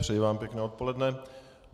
Přeji vám pěkné odpoledne.